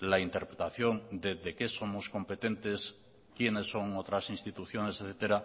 la interpretación de qué somos competentes quiénes son otras instituciones etcétera